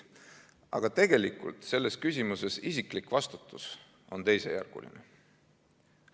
Aga tegelikult on selles küsimuses isiklik vastutus teisejärguline.